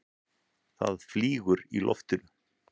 Það flýgur í loftinu.